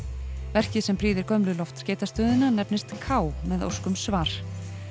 verkið sem prýðir nefnist k með ósk um svar